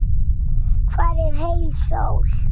Hvar er heil sól?